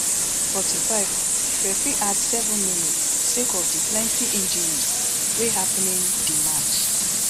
forty-five referee add seven minutes sake of di plenti injuries wey happening di match